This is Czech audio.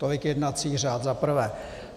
Tolik jednací řád za prvé.